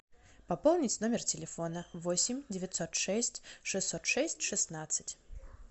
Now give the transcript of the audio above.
пополнить номер телефона восемь девятьсот шесть шестьсот шесть шестнадцать